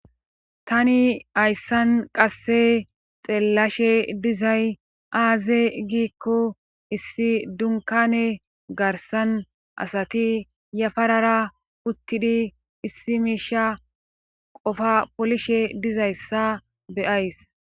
tani hayssan qasse xeellashe dizay aaze giikko issi dunkane garsan asati yafarara uttidi issi miisha qofa polishe dizayssa beyays